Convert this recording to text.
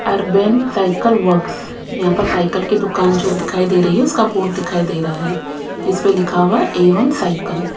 urban cycle works यहां पर cycle की दुकान जो दिखाई दे रही है उसका बोर्ड दिखाई दे रहा है इस पे लिखा हुआ है ए_वन साइकल --